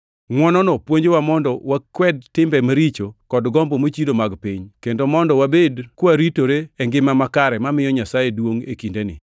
Ngʼwonono puonjowa mondo wakwed timbe maricho kod gombo mochido mag piny, kendo mondo wabed kawaritore e ngima makare mamiyo Nyasaye duongʼ e kindeni,